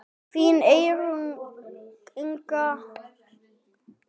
Þín Eyrún Inga.